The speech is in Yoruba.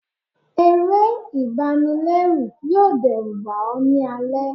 eré ibànilẹrù yọọ dẹruba ọ ni alẹ